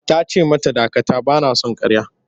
Ta ce mata dakata! Ba na son ƙarya.